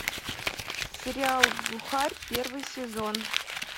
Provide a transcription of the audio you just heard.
сериал глухарь первый сезон